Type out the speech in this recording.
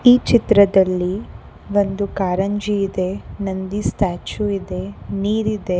ಈ ಚಿತ್ರದಲ್ಲಿ ಒಂದು ಕಾರಂಜಿ ಇದೆ ನಂದಿ ಸ್ಟ್ಯಾಚು ಇದೆ ನೀರಿದೆ.